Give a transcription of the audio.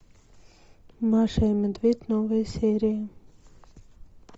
маша и медведь новые серии